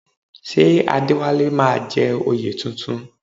Ṣé Adéwálé máa jẹ oyè tuntun?